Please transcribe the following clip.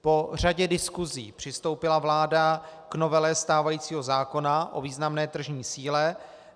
Po řadě diskusí přistoupila vláda k novele stávajícího zákona o významné tržní síle.